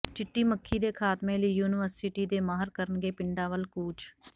ਚਿੱਟੀ ਮੱਖੀ ਦੇ ਖਾਤਮੇ ਲਈ ਯੂਨੀਵਰਸਿਟੀ ਦੇ ਮਾਹਰ ਕਰਨਗੇ ਪਿੰਡਾਂ ਵੱਲ ਕੂਚ